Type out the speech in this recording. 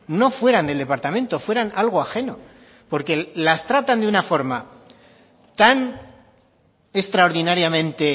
no fueran del departamento fueran algo ajeno porque las tratan de una forma tan extraordinariamente